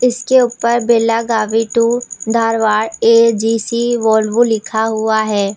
इसके ऊपर Belagavi to Dharwad A G C Volvo लिखा हुआ है।